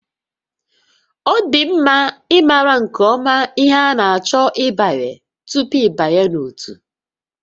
Ọ dị mma ịmara nke ọma ihe ị na-achọ ịbanye tupu ịbanye n'ótú